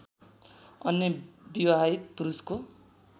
अन्य विवाहित पुरुषको